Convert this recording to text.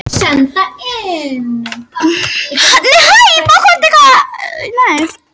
Tilfinningin vaknar hins vegar ekki hjá henni